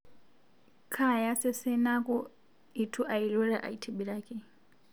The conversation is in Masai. Kaaya sesen naaku eitu ailura aitibiraki